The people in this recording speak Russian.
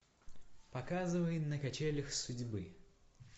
показывай на качелях судьбы